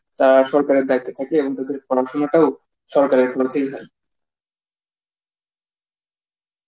তা সরকারের দায়িত্ব থাকে এবং তাদের পড়াশোনাটাও সরকারের খরচেই হয়.